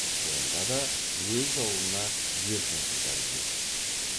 онда да өз аулына еркін қыздар күледі